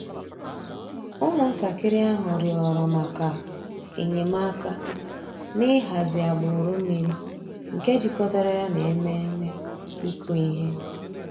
Ụ́mụ̀ntàkìrì àhụ̀ rị̀ọrọ̀ mǎká enyèmàkà n'ị̀hàzì àgbùrù mmìrì nke jìkọ̀tàrà yà nà emèmé́ ị̀kụ̀ íhè.